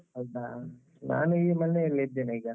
ಹೌದಾ? ನಾನು ಈಗ ಮನೆಯಲ್ಲಿ ಇದ್ದೇನೆ ಈಗ.